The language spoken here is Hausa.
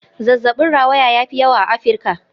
Zazzabin rawaya ya fi yawa a Afirka.